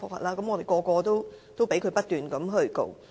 我們人人都被他不斷控告。